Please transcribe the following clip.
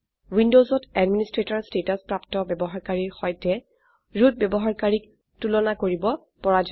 উইন্ডোজত administrator status প্ৰাপ্ত ব্যবহাৰকাৰীৰ সৈতে ৰুট ব্যবহাৰকাৰীক তুলনা কৰিব পৰা যায়